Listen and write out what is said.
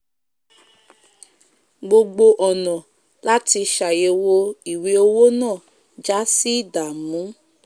gbogbo ònà láti sàyèwò ìwé owo náà jásí ìdàmú